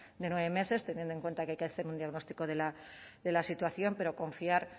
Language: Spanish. de nueve meses teniendo en cuenta que hay que hacer un diagnóstico de la situación pero confiar